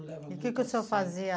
Levar um... E o que que o senhor fazia?